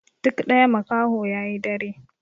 Duk ɗaya makaho yayi dare